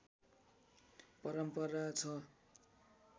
परम्परा छ